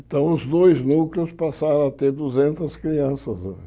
Então, os dois núcleos passaram a ter duzentas crianças hoje.